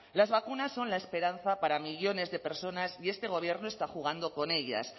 las vacunas son la esperanza para millónes de personas y este gobierno está jugando con ellas